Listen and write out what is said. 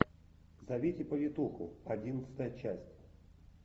зовите повитуху одиннадцатая часть